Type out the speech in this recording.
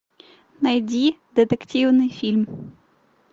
найди детективный фильм